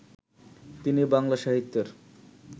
তিনি বাংলা সাহিত্যের